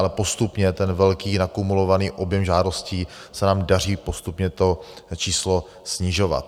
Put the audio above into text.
Ale postupně ten velký, nakumulovaný objem žádostí se nám daří postupně - to číslo - snižovat.